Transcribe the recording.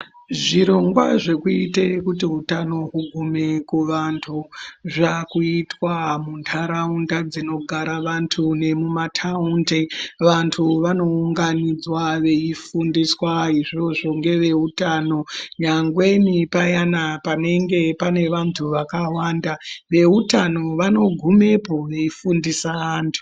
Zvirongwa zvekuita kuti utano ugume kuvanthu zvaakuitwa muntaraunda dzinogara vanthu nemumataundi vanthu vanounganidzwa veifundiswa izvozvo ngeveutano nyangweni payana panenge pane vanthu vakawanda veutano vanogumepo veifundisa vanthu.